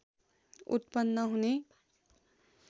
उत्पन्न हुने